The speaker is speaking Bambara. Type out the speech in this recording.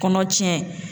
Kɔnɔ tiɲɛ